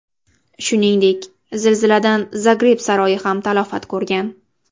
Shuningdek, zilziladan Zagreb saroyi ham talafot ko‘rgan.